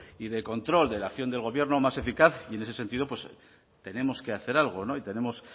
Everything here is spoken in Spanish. y de control de la acción del gobierno más eficaz y en ese sentido pues tenemos que hacer algo